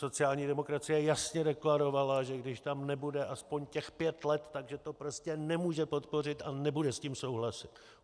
Sociální demokracie jasně deklarovala, že když tam nebude aspoň těch pět let, že to prostě nemůže podpořit a nebude s tím souhlasit.